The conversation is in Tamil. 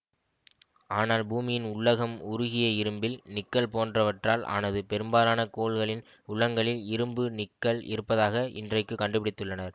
ஆனால் பூமியின் உள்ளகம் உருகிய இரும்பு நிக்கல் போன்றவற்றால் ஆனது பெரும்பாலான கோள்களின் உளகங்களில் இரும்பு நிக்கல் இருப்பதாக இன்றைக்குக் கண்டுபிடித்துள்ளனர்